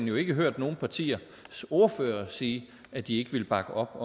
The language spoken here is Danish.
jo ikke hørt nogen partiers ordførere sige at de ikke vil bakke op